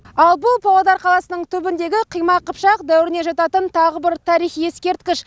ал бұл павлодар қаласының түбіндегі қимақ қыпшақ дәуіріне жататын тағы бір тарихи ескерткіш